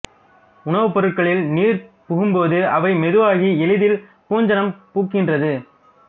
உணவுப் பொருள்களில் நீர் புகும்போது அவை மெதுவாகி எளிதில் பூஞ்சாணம் பூக்கின்றது